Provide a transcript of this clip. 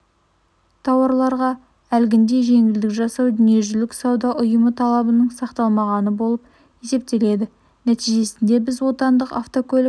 тауарларға әлгіндей жеңілдік жасау дүниежүзілік сауда ұйымы талабының сақталмағаны болып есептеледі нәтижесінде біз отанлық автокөлік